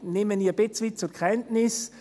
Ich nehme es ein Stück weit zur Kenntnis: